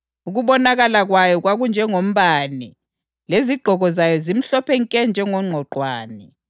Ukubonakala kwayo kwakunjengombane, lezigqoko zayo zimhlophe nke njengongqwaqwane.